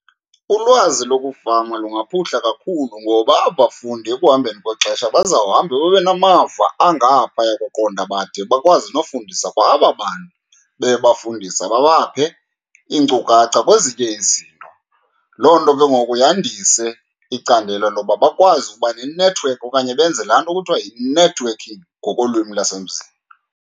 Ulwazi lokufama lungaphuhla kakhulu, ngoba aba bafundi ekuhambeni kwexesha bazawuhamba babe namava angaphaya koqonda bade bakwazi nofundisa kwa aba bantu bebafundisa, babaphe iinkcukacha kwezinye izinto. Loo nto ke ngoku yandise icandelo loba bakwazi uba nenethiwekhi okanye benze laa nto kuthiwa yi-networking ngokolwimi lasemzini.